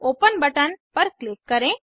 open button पर click करें